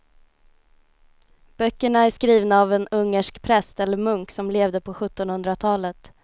Böckerna är skrivna av en ungersk präst eller munk som levde på sjuttonhundratalet.